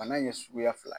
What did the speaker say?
Bana in ye suguya fila